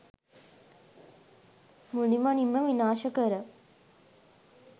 මුළුමනින්ම විනාශ කර